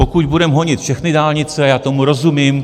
Pokud budeme honit všechny dálnice, já tomu rozumím.